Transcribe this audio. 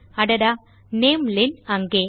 அடடா நாமெலென் அங்கே